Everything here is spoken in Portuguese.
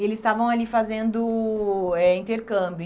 e eles estavam ali fazendo eh intercâmbio.